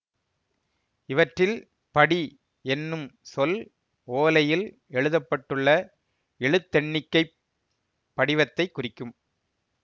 இவற்றில் படி என்னும் சொல் ஓலையில் எழுதப்பட்டுள்ள எழுத்தெண்ணிக்கைப் படிவத்தைக் குறிக்கும்